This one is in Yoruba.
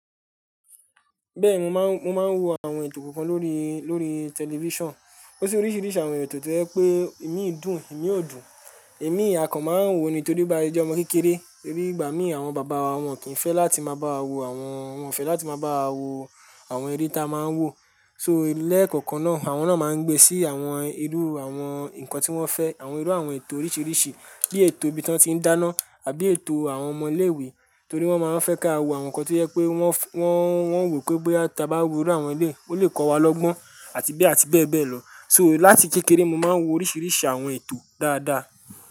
Bẹ́ẹ̀ni mo máa ń, mo máa ń wo àwọn ètò kọ̀ọ̀kan lórí, lórí tẹlifisàn. Ó sì oríṣiiríṣii àwọn ètò tí jẹ pé imi dùn, imi ò dùn, imi ia kan máa ń wò ó ni. Torí bá se je omọ́ kékeré, torí ìgbà mí àwọn bàbá wa wọn kì in fẹ́ láti máa bá wa wo àwọn, wọn ò fẹ́ láti máa bá wa wo àwọn eré ta máà ń wò. So lẹ́ẹ̀kọ̀okan náà, àwọn náà máa ń gbe sí àwọn irú àwọn nǹkan tí wọ́n fẹ́, àwọn irú àwọn ètò oríṣiiríṣii. Bí ètò ibí tán ti ń dáná, àbí ètò àwọn ọmọ ilé-ìwé, torí wọ́n máa ń fẹ́ ká wọ àwọn nǹkan tí jẹ pé wọ́n, wọ́n, wọ́n wò pé bọ́ya ta bá wò irú àwọn ẹlẹ́yi, ó lè kọ́ wa lọ́gbọ́n àti bẹ́ẹ̀ àti bẹ́ẹ̀ bẹ́ẹ̀ lọ. So láti kékeré mo máa ń wo oríṣiiríṣii àwọn ètò dáadáa.